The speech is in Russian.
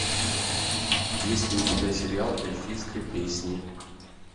есть ли у тебя сериал эльфийская песнь